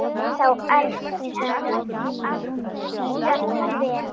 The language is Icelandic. Ennþá erfiðara jafnvel?